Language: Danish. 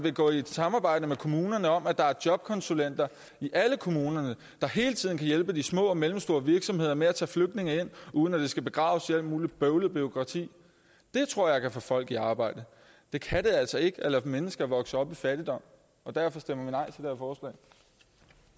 at gå i et samarbejde med kommunerne om at der er jobkonsulenter i alle kommunerne der hele tiden kan hjælpe de små og mellemstore virksomheder med at tage flygtninge ind uden at det skal begraves i alt muligt bøvlet bureaukrati det tror jeg kan få folk i arbejde det kan det altså ikke at lade mennesker vokse op i fattigdom derfor stemmer